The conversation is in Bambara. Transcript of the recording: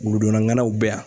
Wuludunna ŋanaw bɛ yan